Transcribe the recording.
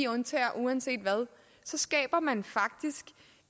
undtager uanset hvad så skaber man faktisk